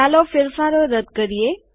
ચાલો ફેરફારો રદ કરીએ